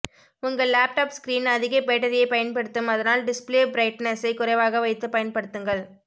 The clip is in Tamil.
உங்க லாப்டாப் ஸ்கிரீன் அதிக பேட்டரியை பயன்படுத்தும் அதனால் டிஸ்ப்ளே ப்ரைட்னெஸ்ஸை குறைவாக வைத்து பயன்படுத்துங்கள்